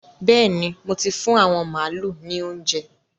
Bẹ́ẹ̀ni, mo ti fún àwọn màálu ní óuńjẹ.